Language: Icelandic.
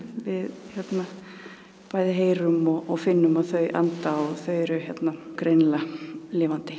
við bæði heyrum og finnum að þau anda og þau eru greinilega lifandi